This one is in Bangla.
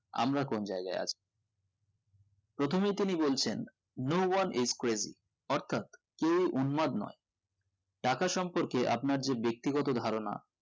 আমরা কোন জায়গায় আছি প্রথমেই তিনি বলছেন no one is crazy অর্থাৎ কেও উদ্মাদ নোই টাকা সম্পর্কে আপনার যে বেক্তিগত ধারণা